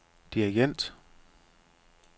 dirigent